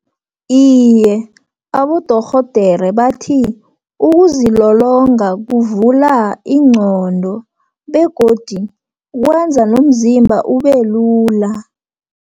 Iye, abodorhodere bathi ukuzilolonga, kuvula ingqondo, begodu kwenza nomzimba ubelula.